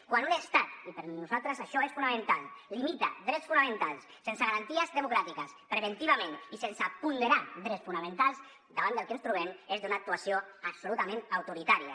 quan un estat i per nosaltres això és fonamental limita drets fonamentals sense garanties democràtiques preventivament i sense ponderar drets fonamentals davant del que ens trobem és d’una actuació absolutament autoritària